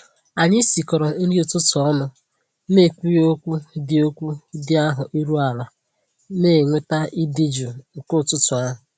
Anyị sikọrọ nri ụtụtụ ọnụ na ekwughị okwu dị okwu dị ahụ iru ala, na enweta ịdị jụụ nke ụtụtụ ahụ